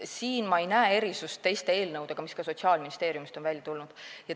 Siin ei näe ma erinevust teistest eelnõudest, mis ka on Sotsiaalministeeriumist tulnud.